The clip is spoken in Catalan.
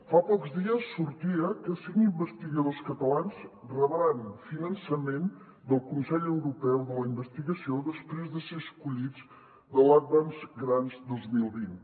fa pocs dies sortia que cinc investigadors catalans rebran finançament del consell europeu de la investigació després de ser escollits en l’advanced grants dos mil vint